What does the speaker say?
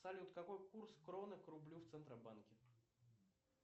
салют какой курс кроны к рублю в центробанке